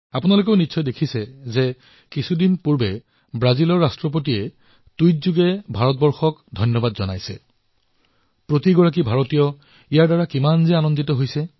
আপোনালোকেও দেখিছে অলপতে ব্ৰাজিলৰ ৰাষ্ট্ৰপতিয়ে টুইট কৰি যিদৰে ভাৰতক ধন্যবাদ জ্ঞাপন কৰিছে সেয়া দেখি প্ৰত্যেক ভাৰতীয় কিমান সুখী হৈছে